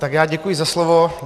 Tak já děkuji za slovo.